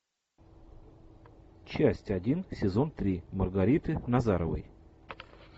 часть один сезон три маргариты назаровой